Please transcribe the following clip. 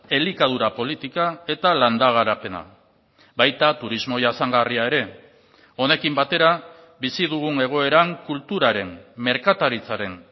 elikadura politika eta landa garapena baita turismo jasangarria ere honekin batera bizi dugun egoeran kulturaren merkataritzaren